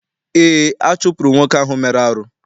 Eé, a chụpụrụ nwoke ahụ mere arụ.